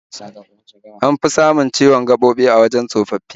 An fi samun amosalin gaɓoɓi a wajen tsofaffi